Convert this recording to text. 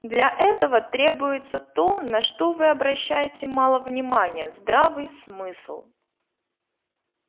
для этого требуется то на что вы обращаете мало внимания здравый смысл